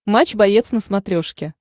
матч боец на смотрешке